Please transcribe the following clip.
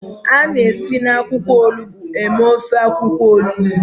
A na-esi na akwụkwọ olugbo mee ofe akwụkwọ onugbo.